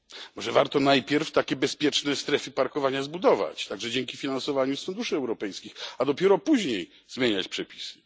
Może warto najpierw takie bezpieczne strefy parkowania zbudować, także dzięki finansowaniu z funduszy europejskich, a dopiero później zmieniać przepisy?